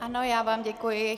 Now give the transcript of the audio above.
Ano, já vám děkuji.